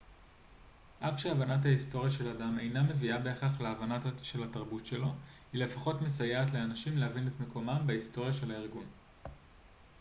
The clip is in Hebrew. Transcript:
אף שהבנת ההיסטוריה של אדם אינה מביאה בהכרח להבנה של התרבות שלו היא לפחות מסייעת לאנשים להבין את מקומם בהיסטוריה של הארגון